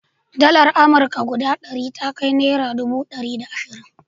Dalar amurka guda ɗari ta kai naira dubu ɗari da ashirin.